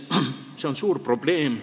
See on suur probleem.